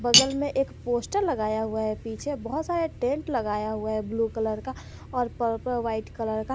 बगल में एक पोस्टर लगाया हुआ है पीछे बहुत सारे टेंट लगाया हुआ है ब्लू कलर का और पर्पल वाइट कलर का।